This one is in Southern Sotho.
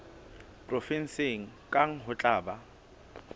provenseng kang ho tla ba